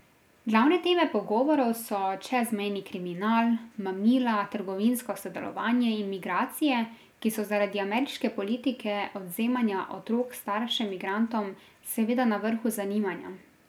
Glavne teme pogovorov so čezmejni kriminal, mamila, trgovinsko sodelovanje in migracije, ki so zaradi ameriške politike odvzemanja otrok staršem migrantom seveda na vrhu zanimanja.